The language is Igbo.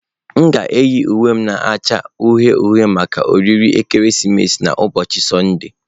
M ga-eyi uwe m na-acha uhie uhie maka oriri ekeresimesi n'ụbọchị Sọnde.